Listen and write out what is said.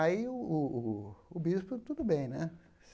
Aí o o o bispo, tudo bem, né?